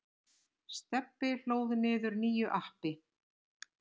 Stebbi hlóð niður nýju appi.